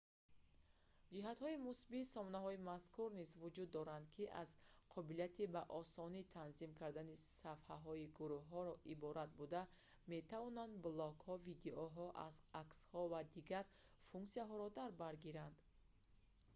ҷиҳатҳои мусбии сомонаҳои мазкур низ вуҷуд доранд ки аз қобилияти ба осонӣ танзим кардани сафҳаи гурӯҳро иборат буда метавонанд блогҳо видеоҳо аксҳо ва дигар функсияҳоро дар бар гиранд